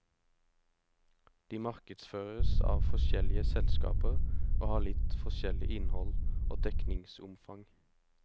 De markedsføres av forskjellige selskaper og har litt forskjellig innhold og dekningsomfang.